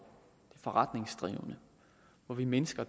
forretningsdrivende og her mindsker